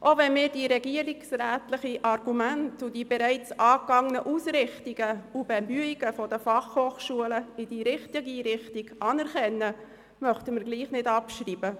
Auch wenn wir die regierungsrätlichen Argumente und die bereits erfolgten Schritte der FH in die richtige Richtung anerkennen, möchten wir nicht abschreiben.